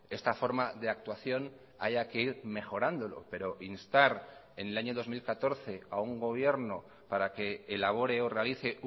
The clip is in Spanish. esta forma de actuación haya que ir mejorándolo pero instar en el año dos mil catorce a un gobierno para que elabore o realice